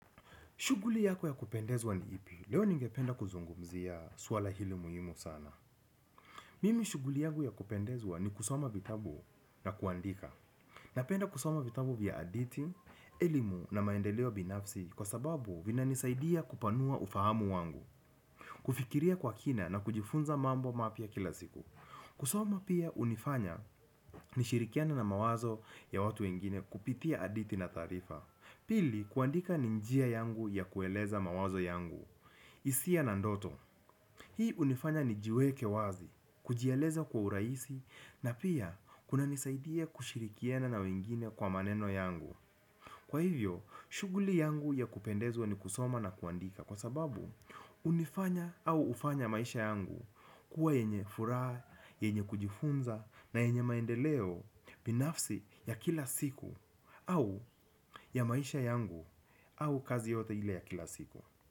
Shughuli yako ya kupendezwa ni ipi, leo ningependa kuzungumzia swala hili muhimu sana. Mimi shughuli yangu ya kupendezwa ni kusoma vitabu na kuandika. Napenda kusoma vitabu vya hadithi, elimu na maendeleo binafsi kwa sababu vinanisaidia kupanua ufahamu wangu. Kufikiria kwa kina na kujifunza mambo mapya kila siku. Kusoma pia hunifanya nishirikiane na mawazo ya watu wengine kupitia hadithi na taarifa. Pili kuandika ni njia yangu ya kueleza mawazo yangu, hisia na ndoto. Hii hunifanya nijiweke wazi, kujialeza kwa urahisi na pia kunanisaidia kushirikiana na wengine kwa maneno yangu. Kwa hivyo, shughuli yangu ya kupendezwa ni kusoma na kuandika. Kwa sababu, hunifanya au hufanya maisha yangu kuwa yenye furaha, yenye kujifunza na yenye maendeleo binafsi ya kila siku au ya maisha yangu au kazi yoyote ile ya kila siku.